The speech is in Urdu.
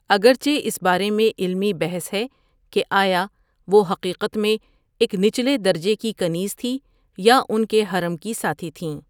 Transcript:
اگرچہ اس بارے میں علمی بحث ہے کہ آیا وہ حقیقت میں ایک نچلے درجے کی کنیز تھی یا ان کے حرم کی ساتھی تھیں ۔